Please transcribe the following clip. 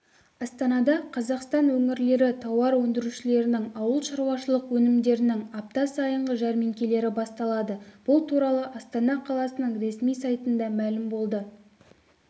астанада қазақстан өңірлері тауар өндірушілерінің ауыл шаруашылық өнімдерінің апта сайынғы жәрмеңкелері басталады бұл туралы астана қаласының ресми сайтында мәлім болды